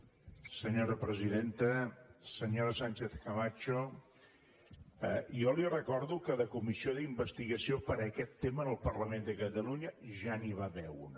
senyora sánchez·camacho jo li recordo que de comissió d’investigació per aquest te·ma en el parlament de catalunya ja n’hi va haver una